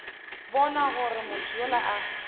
bona gore motho yola a